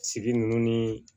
Sigi ninnu ni